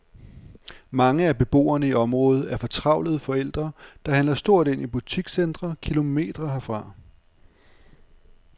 Mange af beboerne i området er fortravlede forældre, der handler stort ind i butikscentre kilometre herfra.